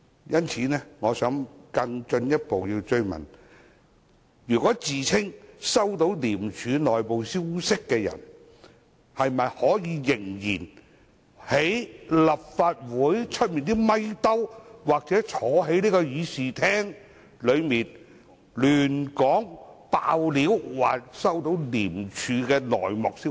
因此，我想更進一步追問，自稱收到廉署內部消息的人可否仍然在立法會外的"咪兜"或坐在這議事廳內胡說、"爆料"，說收到廉署的內幕消息？